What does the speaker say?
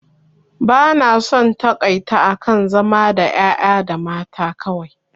Ba na son taƙaita akan zama da ƴaƴa da mata kawai